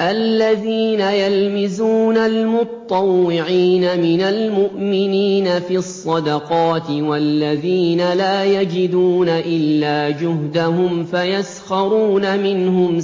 الَّذِينَ يَلْمِزُونَ الْمُطَّوِّعِينَ مِنَ الْمُؤْمِنِينَ فِي الصَّدَقَاتِ وَالَّذِينَ لَا يَجِدُونَ إِلَّا جُهْدَهُمْ فَيَسْخَرُونَ مِنْهُمْ ۙ